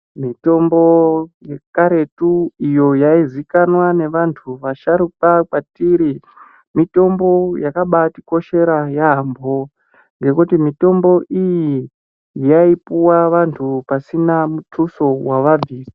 Mitombo yekaretu iyo yaizikanwa nevantu vasharuka kwatiri mitombo yakabatikoshera yambo ngekuti mitombo iyi yaipuwa vantu pasina mutuso wavabvisa.